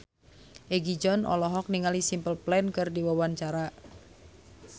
Egi John olohok ningali Simple Plan keur diwawancara